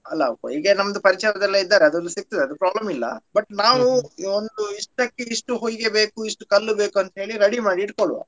ಅಲ್ಲ ಹೊಯಿಗೆ ನಂದು ಪರಿಚಯದವರೆಲ್ಲ ಇದ್ದಾರೆ ಸಿಗ್ತದೆ ಅದು problem ಇಲ್ಲ but ನಾವು ಒಂದು ಇಸ್ಟ್ಟಕೆ ಇಷ್ಟು ಹೊಯಿಗೆ ಬೇಕು ಇಷ್ಟು ಕಲ್ಲು ಬೇಕು ಅಂತ ಹೇಳಿ ready ಮಾಡಿ ಇಟುಕೊಳ್ಳುವ.